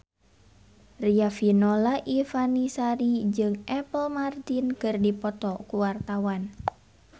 Riafinola Ifani Sari jeung Apple Martin keur dipoto ku wartawan